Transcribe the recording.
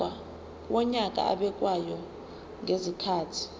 wonyaka obekwayo ngezikhathi